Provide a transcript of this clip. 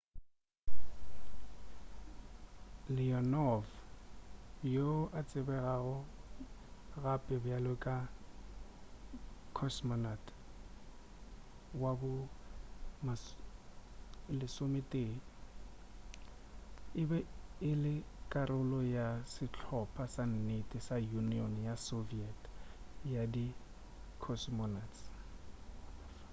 leonov yoo a tsebegago gape bjalo ka cosmonaut no 11 e be e le karolo ya sehlopha sa nnete sa union ya soviet ya di cosmonauts